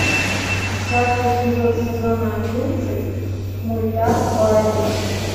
десятый эпизод сезона одиннадцать мульта барри